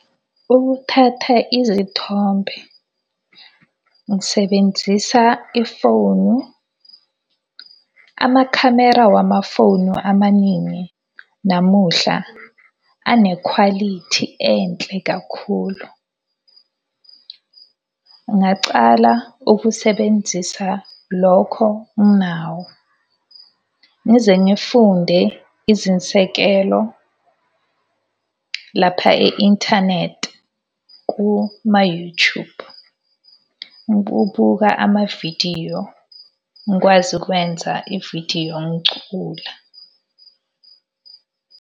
Ukuthatha izithombe. Ngisebenzisa ifonu. Amakhamera wamafonu amaningi namuhla anekhwalithi enhle kakhulu. Ngingacala ukusebenzisa lokho nginawo. Ngize ngifunde izinsekelo lapha e-inthanethi kuma-You Tube. amavidiyo, ngikwazi ukwenza ividiyo ngicula.